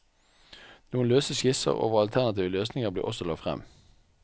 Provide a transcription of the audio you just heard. Noen løse skisser over alternative løsninger ble også lagt frem.